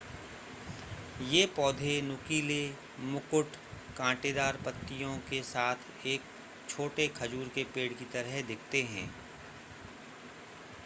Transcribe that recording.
ये पौधे नुकीले मुकुट कांटेदार पत्तियों के साथ एक छोटे खजूर के पेड़ की तरह दिखते हैं